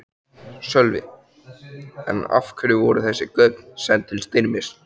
Sölvi: En af hverju voru þessi gögn send til Styrmis?